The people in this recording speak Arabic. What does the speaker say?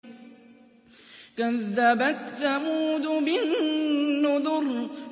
كَذَّبَتْ ثَمُودُ بِالنُّذُرِ